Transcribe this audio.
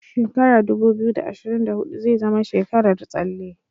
Shekara dubu biyu, da ashirin da hudu zai zama tsekarar tsalle.